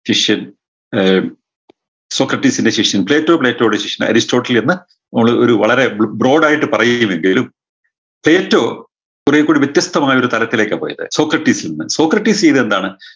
ശിഷ്യൻ ഏർ സോക്രടീസിൻറെ ശിഷ്യൻ പ്ലേറ്റോ പ്ലേറ്റോയുടെ ശിഷ്യൻ അരിസ്റ്റോട്ടിൽ എന്ന മോള് ഒരു വളരെ ബ്രോ brod ആയിട്ട് പറയുകയും എന്തേലും പ്ലേറ്റോ കൊറേക്കൂടെ വ്യത്യസ്തമായ ഒരു തലത്തിലേക്കാ പോയത് സോക്രട്ടീസീൽന്ന് സോക്രടീസീന്ന് എന്താണ്